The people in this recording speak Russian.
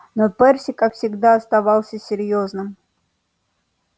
но перси как всегда оставался серьёзным